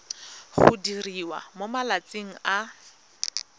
go diriwa mo malatsing a